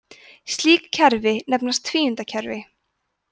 slíkt kerfi nefnist tvíundakerfi